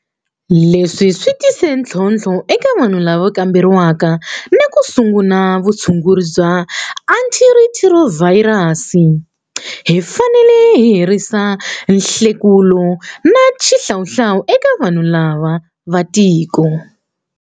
Leswi swi tise ntlhontlho eka vanhu lava kamberiwaka na ku sungula vutshunguri bya antirhithirovhayirali. Hi fanele hi herisa nhlekulo na xihlawuhlawu eka vanhu lava va tiko.